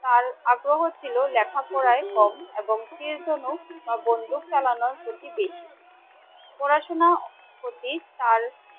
তার আগ্রহ ছিল লেখাপড়ায় কম এবং তীর ধনুক বা বন্দুক চালানোর প্রতি বেশী ।পড়াশোনার প্রতি তার